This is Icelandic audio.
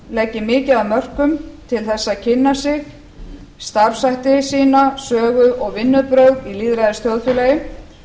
leggi mikið af mörkum til þess að kynna sig starfshætti sína sögu og vinnubrögð í lýðræðisþjóðfélagi